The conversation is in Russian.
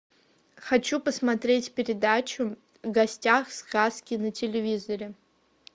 хочу посмотреть передачу в гостях сказки на телевизоре